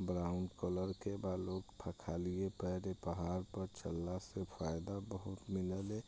brown colour के बा लोक फ बा खलिए पैर पहाड़ पर चलले से फायदा बहुत मिलेला